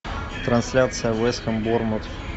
трансляция вест хэм борнмут